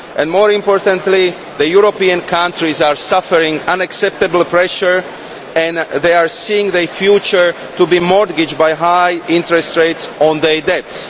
More importantly, European countries are suffering unacceptable pressure and they see their future as mortgaged by high interest rates on their debts.